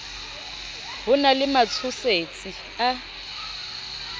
ho na le matshosetsi a